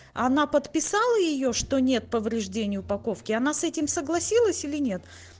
она подписала её что нет повреждений упаковки она с этим согласилась или нет